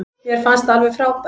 Mér finnst það alveg frábært.